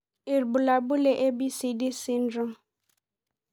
Ibulabul le ABCD syndrome